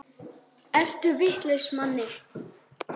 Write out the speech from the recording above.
Ertu vitlaus Manni!